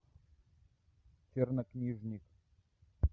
чернокнижник